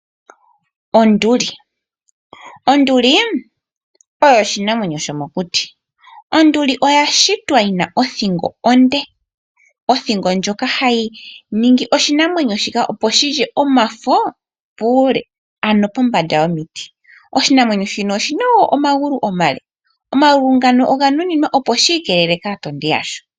Onduli, onduli oyo oshinamwenyo shomo kuti onduli oya shitwa yina othingo onde othingo ndjoka hayi ningi oshinamwenyo shika opo shilye omafo uule pombanda yomiti. Oshinamwenyo shino oshina omagulu omale omagulu ngano oganuninwa opo shikelele kaatondi yasho.